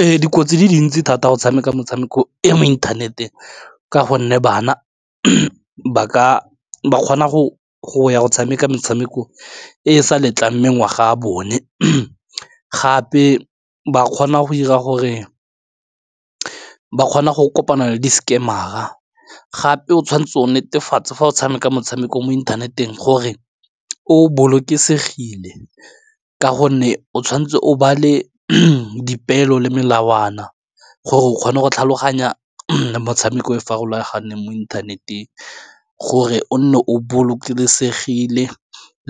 Ee, dikotsi tse dintsi thata go tshameka metshameko e mo inthaneteng ka gonne bana ba ka kgona go tshameka metshameko e e sa letlang mengwaga a bone gape ba kgona go ira gore ba kgona go kopana le di-scammer-ra, gape o tshwanetse o netefatsa fa o tshameka motshameko mo inthaneteng gore o bolokesegile ka gonne o tshwanetse o ba le dipeelo le melawana gore o kgone go tlhaloganya motshameko e farologaneng mo inthaneteng, gore o nne o bolokesegile